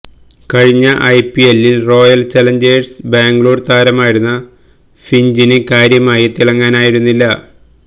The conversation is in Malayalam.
കഴിഞ്ഞ ഐപിഎല്ലില് റോയല് ചലഞ്ചേഴ്സ് ബാംഗ്ലൂര് താരമായിരുന്ന ഫിഞ്ചിന് കാര്യമായി തിളങ്ങാനായിരുന്നില്ല